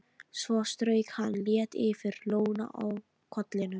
Svo strauk hann létt yfir lóna á kollinum.